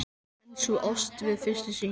En sú ást við fyrstu sýn!